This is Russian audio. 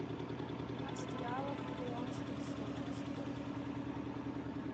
пятнадцать реалов в перуанских солях сколько